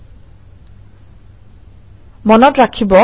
মনত ৰাখিব যে মই মোৰ হম ডিৰেক্টৰীত আছোঁ